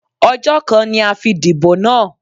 Ọjọ́ kan ni a fi dìbò náà.